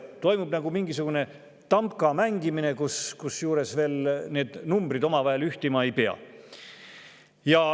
Toimub mingisugune tamka mängimine, kusjuures veel numbrid omavahel ühtima ei pea.